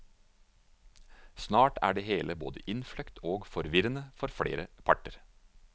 Snart er det hele både innfløkt og forvirrende for flere parter.